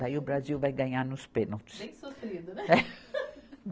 Daí o Brasil vai ganhar nos pênaltis. Bem sofrido, né?